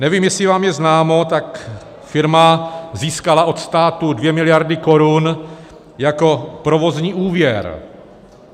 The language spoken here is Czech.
Nevím, jestli vám je známo, tak firma získala od státu 2 miliardy korun jako provozní úvěr.